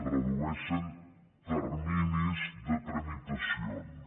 redueixen terminis de tramitacions